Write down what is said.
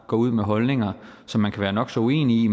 går ud med holdninger som man kan være nok så uenig